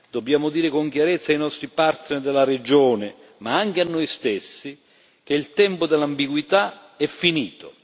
Dobbiamo dire con chiarezza ai nostri partner della regione, ma anche a noi stessi, che il tempo dall'ambiguità è finito.